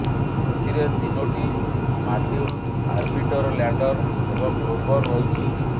ଏଥିରେ ତିନୋଟି module orbiter lander ଏବଂ ରୋବର ରହିଛି